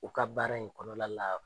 U ka baara in kɔnɔla la